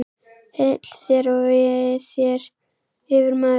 Heill þér og vei þér, yfirmaður!